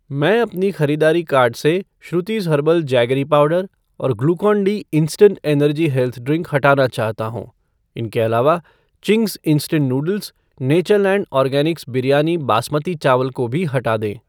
मैं अपने ख़रीदारी कार्ट से श्रुतिज़ हर्बल जैगरी पाउडर और Glucon D instant energy health drink हटाना चाहता हूँ । इनके अलावा Ching's instant noodles , Natureland organics biryani basmati चावल को भी हटा दें।